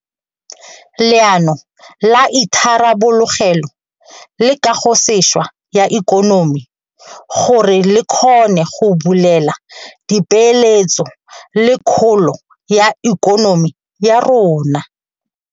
Leano la Itharabologelo le Kagosešwa ya Ikonomi gore le kgone go bulela dipeeletso le kgolo ya ikonomi ya rona.